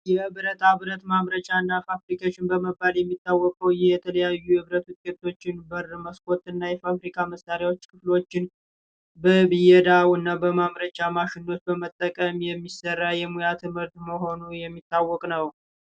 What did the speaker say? የብረታ ብረት ማምረቻና ፋብሪኬሽን በመባል የሚታወቀው ይህ የተለያዩ የብረት ውጤቶችን በር መስኮትና የተለያዩ ፋብሪካ መሣሪያዎችን ክፍሎችን በብየዳውና በማምረቻ ማሸኖች በመጠቀም የሚሰራ የሙያ ትምህርት መሆኑ የሚታወቅ ነው።